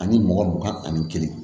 Ani mugan mugan ani kelen